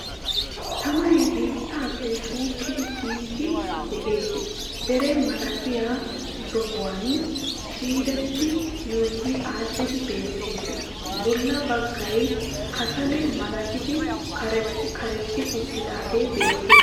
Tamay biittappe xuuqqidi kiiyidi de'ees. Deree malatiya sohuwan ciireti yuuyi adhdhidi beettees. Bolla baggay kasalae malattidi karexxi karexxi uttidaage beettees.